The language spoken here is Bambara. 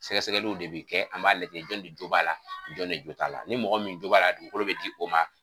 Sɛgɛsɛgɛliw de bi kɛ an b'a lajɛ jɔnni de jo b'a la jɔnne jot'a la ni mɔgɔ min jo b'a la dugukolo bɛ di o ma.